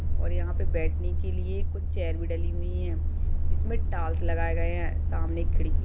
और यहाँ पे बैठने के लिए कुछ चेयर भी डली हुई है जिसमें टाल्स लगाए गए है। सामने एक खिड़की--